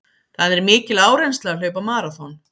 Það er mikil áreynsla að hlaupa maraþon.